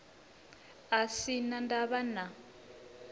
a sin a ndavha na